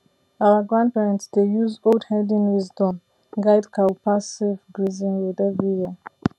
our grandparents dey use old herding wisdom guide cow pass safe grazing road every year